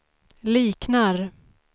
liknar